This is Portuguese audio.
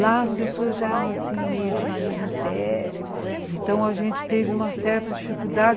Lá as pessoas já eram assim meio de nariz em pé, então a gente teve uma certa dificuldade.